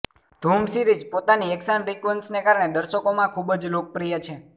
ધૂમ સિરીઝ પોતાની એકશન સિકવન્સને કારણે દર્શકોમાં ખૂબ જ લોકપ્રિય છે